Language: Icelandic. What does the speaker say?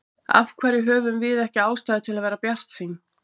Af hverju höfum við ekki ástæðu til að vera bjartsýn?